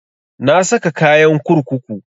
Na saka kayan kurkuku